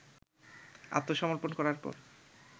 আত্মসমর্পন করার পর